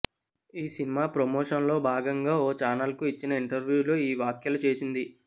ఈ సినిమా ప్రమోషన్లో భాగంగా ఓ ఛానల్కు ఇచ్చిన ఇంటర్వూలో ఈ వ్యాఖ్యలు చేసింది